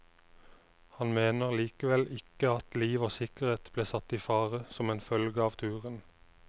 Han mener likevel ikke at liv og sikkerhet ble satt i fare som en følge av turen.